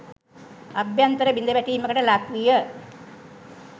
අභ්‍යන්තර බිඳවැටීමකට ලක්විය.